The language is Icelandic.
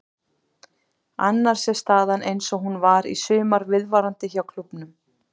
Annars er staðan eins og hún var í sumar viðvarandi hjá klúbbnum.